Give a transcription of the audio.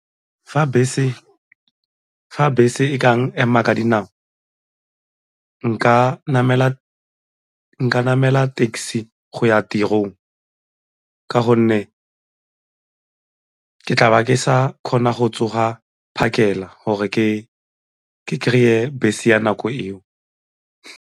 Fa bese e kang ema ka dinao nka namela taxi go ya tirong ka gonne ke tlabe ke sa kgona go tsoga phakela gore ke kry-e bese ya nako eo.